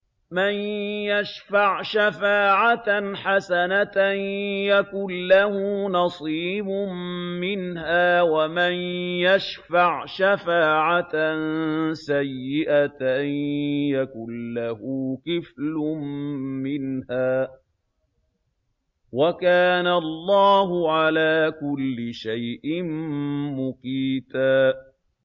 مَّن يَشْفَعْ شَفَاعَةً حَسَنَةً يَكُن لَّهُ نَصِيبٌ مِّنْهَا ۖ وَمَن يَشْفَعْ شَفَاعَةً سَيِّئَةً يَكُن لَّهُ كِفْلٌ مِّنْهَا ۗ وَكَانَ اللَّهُ عَلَىٰ كُلِّ شَيْءٍ مُّقِيتًا